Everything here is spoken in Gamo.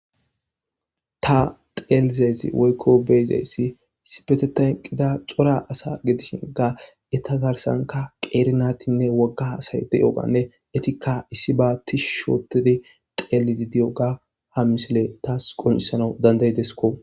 Ta xelizaysi woyko beyiyasi issipetetan eqida cora asa gidishinka eta garsanka qeeri naytinne woga asayi de'iyoganne etika issi ba tishi othidi xelidi diyoga ha misiley tasi qoncisanaw danda'idesko.